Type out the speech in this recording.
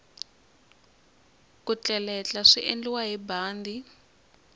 ku tleletla swiendliwa hi bandi